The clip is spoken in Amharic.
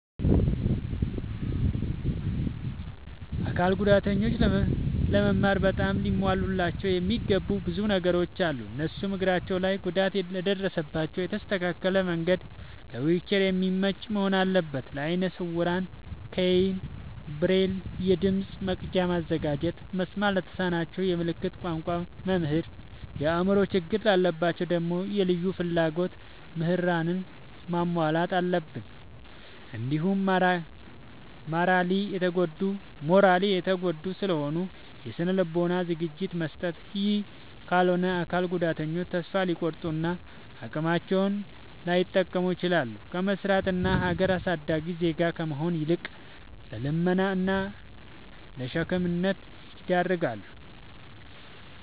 አካል ጉዳተኞች ለመማር በጣም ሊሟሉላቸው የሚገቡ ብዙ ነገሮ አሉ። እነሱም፦ እግራቸው ላይ ጉዳት ለደረሰባቸው የተስተካከለ መንድ ለዊልቸር የሚመች መሆን አለበት። ለአይነ ስውራን ኬይን፣ ብሬል፤ የድምፅ መቅጃ ማዘጋጀት፤ መስማት ለተሳናቸው የምልክት ቋንቋ መምህር፤ የአእምሮ ችግር ላለባቸው ደግሞ የልዩ ፍላጎት ምህራንን ማሟላት አለብትን። እንዲሁም ማራሊ የተጎዱ ስለሆኑ የስነ ልቦና ዝግጅት መስጠት። ይህ ካልሆነ አካል ጉዳተኞች ተሰፋ ሊቆርጡ እና አቅማቸውን ላይጠቀሙ ይችላሉ። ከመስራት እና ሀገር አሳዳጊ ዜጋ ከመሆን ይልቅ ለልመና እና ለሸክምነት ይዳረጋሉ።